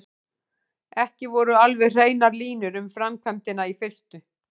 Ekki voru alveg hreinar línur um framkvæmdina í fyrstu.